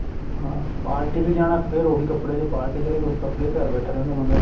ਹਾਂ party ਤੇ ਜਾਣਾ ਫ਼ੇਰ ਉਹੀ ਕੱਪੜੇ ਜੇ party ਤੇ ਚਲੇ ਜੋ ਉਸ ਕੱਪੜੇ ਵਿੱਚ ਘਰ ਬੈਠਾ ਰਹਿੰਦਾ ਬੰਦਾ